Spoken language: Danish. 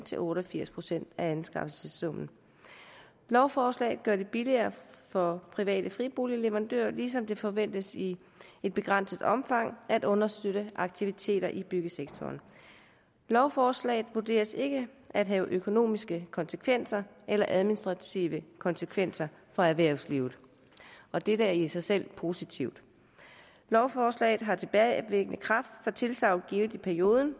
til otte og firs procent af anskaffelsessummen lovforslaget gør det billigere for private friboligleverandører ligesom det forventes i et begrænset omfang at understøtte aktiviteter i byggesektoren lovforslaget vurderes ikke at have økonomiske konsekvenser eller administrative konsekvenser for erhvervslivet og dette er i sig selv positivt lovforslaget har tilbagevirkende kraft for tilsagn givet i perioden